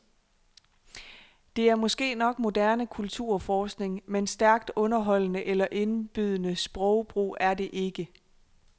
Det er måske nok moderne kulturforskning, men stærkt underholdende eller indbydende sprogbrug er det ikke.